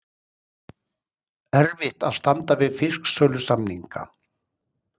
Erfitt að standa við fisksölusamninga